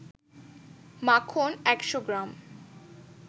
মাখন ১০০ গ্রাম